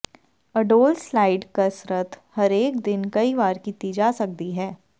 ਅਡੋਲ slide ਕਸਰਤ ਹਰੇਕ ਦਿਨ ਕਈ ਵਾਰ ਕੀਤੀ ਜਾ ਸਕਦੀ ਹੈ